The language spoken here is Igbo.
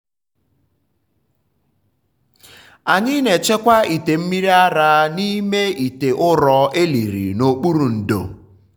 anyị na-echekwa ite mmiri ara n’ime ite ụrọ e liri n’okpuru ndo.